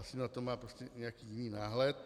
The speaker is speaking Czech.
Asi na to má prostě nějaký jiný náhled.